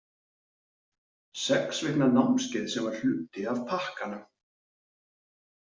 Sex vikna námskeið sem var hluti af pakkanum.